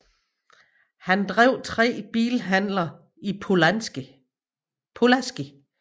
Han drev tre bilhandler i Pulaski